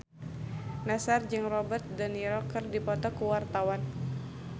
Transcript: Nassar jeung Robert de Niro keur dipoto ku wartawan